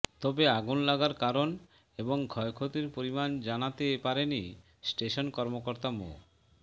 তবে আগুন লাগার কারণ এবং ক্ষয়ক্ষতির পরিমাণ জানাতে পারেনি স্টেশন কর্মকর্তা মো